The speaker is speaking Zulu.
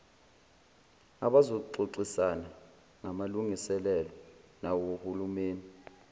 abazoxoxisana ngamalungeselelo nawohulumeni